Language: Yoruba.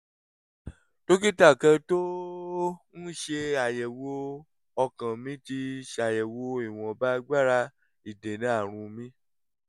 dókítà kan tó ń ṣàyẹ̀wò ọkàn mi ti ṣàyẹ̀wò ìwọ̀nba agbára ìdènà àrùn mi